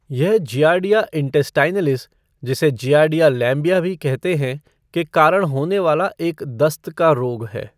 यह Giardia intestinalis जिसे Giardia lamblia भी कहते हैं के कारण होने वाला एक दस्त का रोग है।